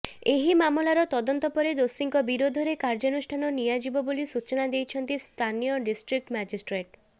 ଏହି ମାମଲାରେ ତଦନ୍ତ ପରେ ଦୋଷୀଙ୍କ ବିରୋଧରେ କାର୍ଯ୍ୟାନୁଷ୍ଠାନ ନିଆଯିବ ବୋଲି ସୂଚନା ଦେଇଛନ୍ତି ସ୍ଥାନୀୟ ଡିଷ୍ଟ୍ରିକ୍ଯ ମାଜିଷ୍ଟ୍ରେଟ୍